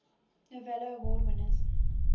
novello award winners